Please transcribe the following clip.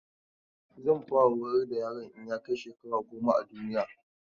Zan fara horar da yaron in ya kai shekara goma a duniya.